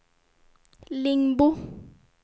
Lingbo